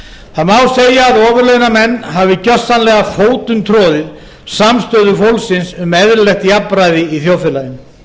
það má segja að ofurlaunamenn hafi gersamlega fótumtroðið samstöðu fólksins um eðlilegt jafnræði í þjóðfélaginu